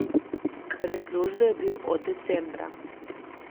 Brez službe je bil od decembra.